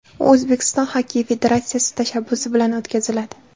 U O‘zbekiston Xokkey federatsiyasi tashabbusi bilan o‘tkaziladi.